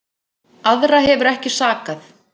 Aðra hefur ekki sakað